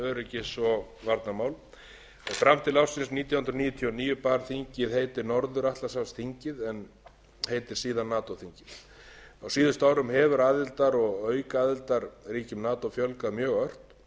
öryggis og varnarmál fram til ársins nítján hundruð níutíu og níu bar þingið heitið norður atlantshafsþingið en heitir síðan nato þingið á síðustu árum hefur aðildar og aukaaðildarríkjum nato fjölgað mjög ört og hefur